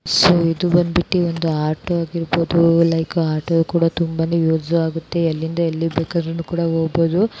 so ಇದು ಬಂದ್ಬಿಟ್ಟು ಒಂದು ಆಟೋ ಇರಬಹೋದು ಲೈಕ್ ಆಟೋ ಕೂಡ ತುಂಬಾನೆ ಯೂಸ್ ಆಗುತ್ತೆ ಎಲ್ಲಿಂದ ಎಲ್ಲಿಗೆ ಬೇಕಾರೂ ಕೂಡನು ಹೋಗಬಹುದು